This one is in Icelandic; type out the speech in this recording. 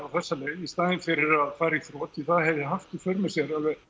þessa leið í staðinn fyrir að fara í þrot því það hefði haft í för með sér